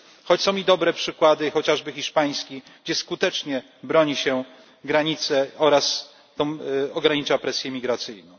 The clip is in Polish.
Choć są i dobre przykłady, chociażby hiszpański, gdzie skutecznie broni się granic oraz ogranicza presję migracyjną.